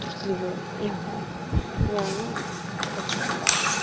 трусливые ага нет ну как то так